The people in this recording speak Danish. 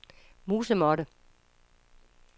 musemåtte